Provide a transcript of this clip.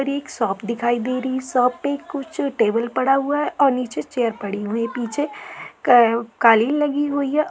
यहाँ पर एक शॉप दिखाई दे रही है। शॉप मे कुछ टेबुल पड़ा हुआ है और नीचे चेयर पड़ी हुई है और पीछे का-कालीन लगी हुई है।